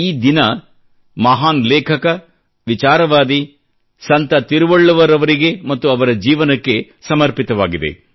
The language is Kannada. ಈ ದಿನ ಮಹಾನ್ ಲೇಖಕ ವಿಚಾರವಾದಿ ಸಂತ ತಿರುವಳ್ಳುವರ್ ಅವರಿಗೆ ಮತ್ತು ಅವರ ಜೀವನಕ್ಕೆ ಸಮರ್ಪಿತವಾಗಿದೆ